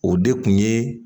O de kun ye